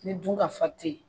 Ni dun ka fa te ye